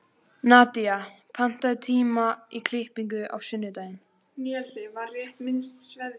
Nadía, pantaðu tíma í klippingu á sunnudaginn.